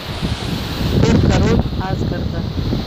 тор король асгарда